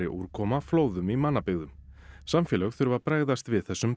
úrkoma flóðum í mannabyggðum samfélög þurfa að bregðast við þessum